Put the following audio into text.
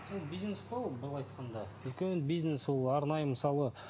бизнес қой ол былай айтқанда үлкен бизнес ол арнайы мысалы